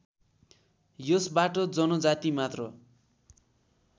यसबाट जनजाति मात्र